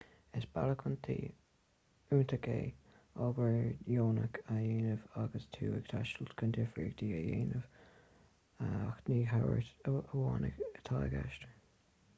is bealach iontach é obair dheonach a dhéanamh agus tú ag taisteal chun difríocht a dhéanamh ach ní tabhairt amháin atá i gceist